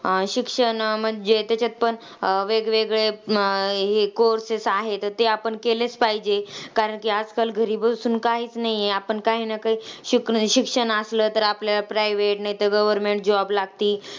अं शिक्षण म्हणजे त्याच्यात पण वेगवेगळे अं हे courses आहेत, तर ते आपण केलेच पाहिजे. कारण की आजकाल घरी बसून काहीच नाहीय. आपण काही ना काही शिकू, शिक्षण आसलं तर आपल्याला private नाहीतर government job लागती.